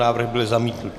Návrh byl zamítnut.